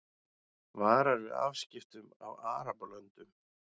Varar við afskiptum af Arabalöndum